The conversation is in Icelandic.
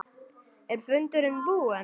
Er fundurinn búinn?